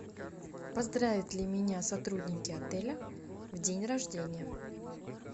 поздравят ли меня сотрудники отеля в день рождения